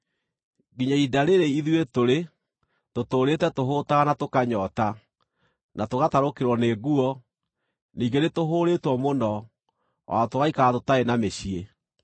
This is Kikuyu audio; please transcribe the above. Nginya ihinda rĩĩrĩ ithuĩ tũrĩ tũtũũrĩte tũhũũtaga na tũkanyoota, na tũgatarũkĩrwo nĩ nguo, ningĩ nĩtũhũũrĩtwo mũno, o na tũgaikara tũtarĩ na mĩciĩ.